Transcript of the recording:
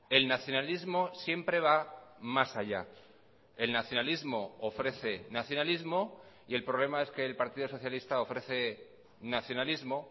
el nacionalismo siempre va más allá el nacionalismo ofrece nacionalismo y el problema es que el partido socialista ofrece nacionalismo